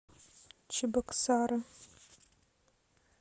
чебоксары